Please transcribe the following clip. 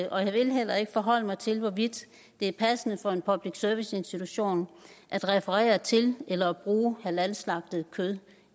og jeg vil heller ikke forholde mig til hvorvidt det er passende for en public service institution at referere til eller at bruge halalslagtet kød